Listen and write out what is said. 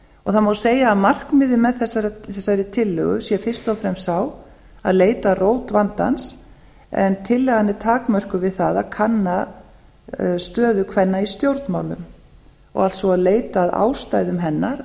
það má segja að markmiðið með þessari tillögu sé fyrst og fremst það að leita að rót vandans en tillagan er takmörkuð við það að kanna stöðu kvenna í stjórnmálum alltsvo að leita að ástæðum hennar